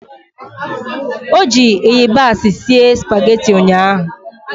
Ọ ji ịyabasị sie spageti ụnyaahụ?